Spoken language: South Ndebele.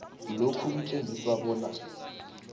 lokhu kutjengisa bona